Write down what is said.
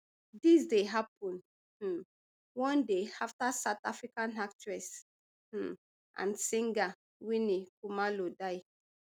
dis dey happun um one day afta south african actress um and singer winnie khumalo die